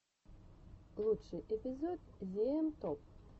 лучший эпизод зиэм топ